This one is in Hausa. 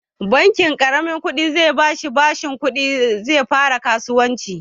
Bankin ƙaramin ƙudi zai bashi bashin kuɗi ya fara kasuwancinsa